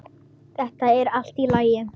Þetta er allt í lagi.